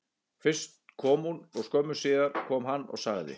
Fyrst kom hún og skömmu síðar kom hann og sagði: